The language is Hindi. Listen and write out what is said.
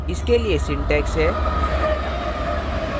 इसके लिए syntax है :